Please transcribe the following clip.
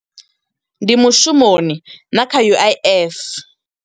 Ndi mushumoni na kha U_I_F.